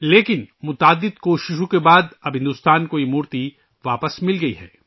لیکن بہت کوششوں کے بعد ، اب بھارت کو یہ مورتی واپس مل گئی ہے